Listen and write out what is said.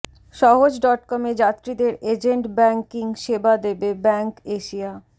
সহজ ডটকমে যাত্রীদের এজেন্ট ব্যাংকিং সেবা দেবে ব্যাংক এশিয়া